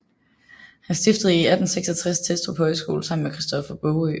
Han stiftede i 1866 Testrup Højskole sammen med Christoffer Baagø